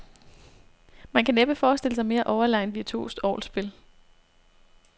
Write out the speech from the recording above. Man kan næppe forestille sig mere overlegent virtuost orgelspil.